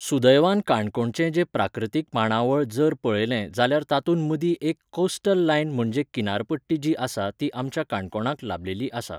सुदैवान काणकोणचे जे प्राकृतीक मांडावळ जर पळयलें जाल्यार तातूंत मदीं एक कॉस्टल लायन म्हणजे किनार पट्टी जी आसा ती आमच्या काणकोणाक लाबलेली आसा